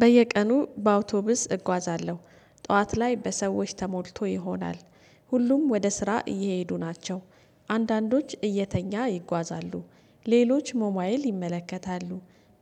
በየቀኑ በአውቶቡስ እጓዛለሁ ጠዋት ላይ በሰዎች ተሞልቶ ይሆናል ሁሉም ወደ ስራ እየሄዱ ናቸው። አንዳንዶች እየተኛ ይጓዛሉ ሌሎች ሞባይል ይመለከታሉ